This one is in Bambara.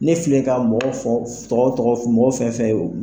Ne filɛ ka mɔgɔ fɔ tɔgɔ tɔgɔ mɔgɔ fɛn fɛn ye